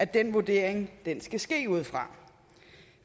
den vurdering skal ske ud fra